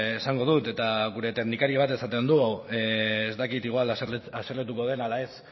esango dut eta gure teknikari bat esaten du ez dakit igual haserretuko den ala ez